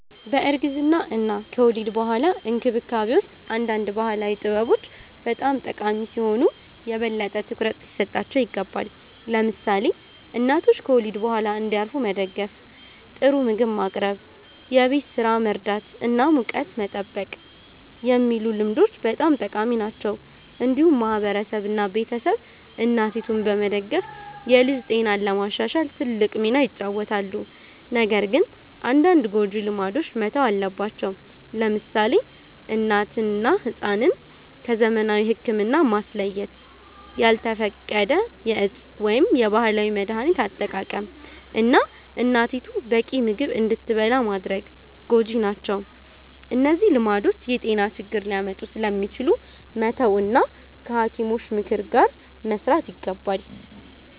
በእርግዝና እና ከወሊድ በኋላ እንክብካቤ ውስጥ አንዳንድ ባህላዊ ጥበቦች በጣም ጠቃሚ ሲሆኑ ዛሬ የበለጠ ትኩረት ሊሰጣቸው ይገባል። ለምሳሌ እናቶች ከወሊድ በኋላ እንዲያርፉ መደገፍ፣ ጥሩ ምግብ ማቅረብ፣ የቤት ስራ መርዳት እና ሙቀት መጠበቅ የሚሉ ልምዶች በጣም ጠቃሚ ናቸው። እንዲሁም ማህበረሰብ እና ቤተሰብ እናቲቱን በመደገፍ የልጅ ጤናን ለማሻሻል ትልቅ ሚና ይጫወታሉ። ነገር ግን አንዳንድ ጎጂ ልማዶች መተው አለባቸው። ለምሳሌ እናትን እና ሕፃንን ከዘመናዊ ሕክምና ማስለየት፣ ያልተፈቀደ የእፅ ወይም የባህላዊ መድሀኒት አጠቃቀም፣ እና እናቲቱ በቂ ምግብ እንዳትበላ ማድረግ ጎጂ ናቸው። እነዚህ ልማዶች የጤና ችግር ሊያመጡ ስለሚችሉ መተው እና ከሐኪሞች ምክር ጋር መስራት ይገባል።